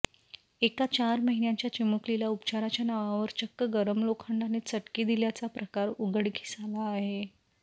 एका चार महिन्यांच्या चिमुकलीला उपचाराच्या नावावर चक्क गरम लोखंडाने चटके दिल्याचा प्रकार उघडकीस आला आहे